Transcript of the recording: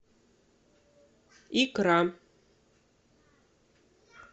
икра